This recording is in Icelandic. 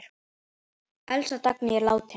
Elsku Dagný er látin.